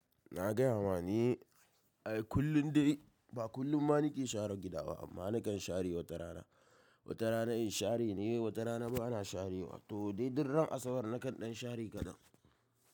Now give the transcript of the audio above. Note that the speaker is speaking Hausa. Na gaya ma ni, ai kullum dai ba kullum ma nake share gida ba amma nakan share wata rana. Wata rana in share ne, wata rana bana sharewa. To dai dur ran asabar nakan ɗan share kaɗan.